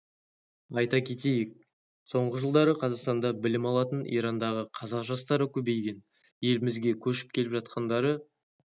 айта кетейік соңғы жылдары қазақстанда білім алатын ирандағы қазақ жастары көбейген елімізге көшіп келіп жатқандары